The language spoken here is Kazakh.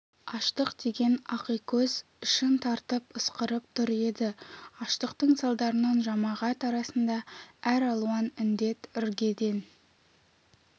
аштық деген ақикөз ішін тартып ысқырып тұр еді аштықтың салдарынан жамағат арасында әр алуан індет іргеден